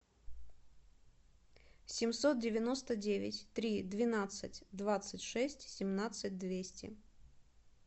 семьсот девяносто девять три двенадцать двадцать шесть семнадцать двести